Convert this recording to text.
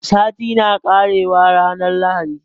Sati na ƙarewa ranar lahadi